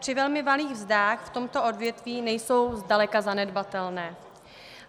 Při velmi malých mzdách v tomto odvětví nejsou zdaleka zanedbatelné.